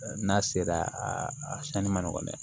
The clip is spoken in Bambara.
N'a sera a sanni ma nɔgɔn dɛ